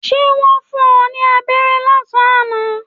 Ṣé wọn fún ẹ ní aberé lásán àná?